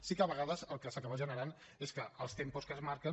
sí que a vegades el que s’acaba generant és que els tempos que es marquen